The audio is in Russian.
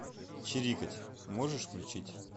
чирикать можешь включить